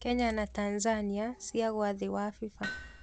Kenya na Tanzania ciagwa thĩĩ wa FIFA